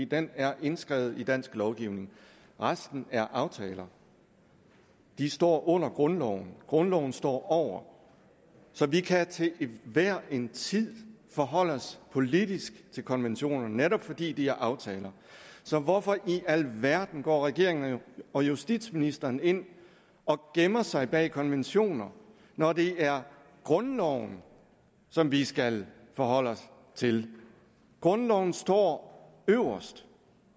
den er indskrevet i dansk lovgivning resten er aftaler de står under grundloven grundloven står over så vi kan til hver en tid forholde os politisk til konventionerne netop fordi de er aftaler så hvorfor i alverden går regeringen og justitsministeren ind og gemmer sig bag konventioner når det er grundloven som vi skal forholde os til grundloven står øverst